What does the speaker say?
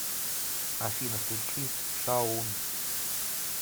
афина включи шаун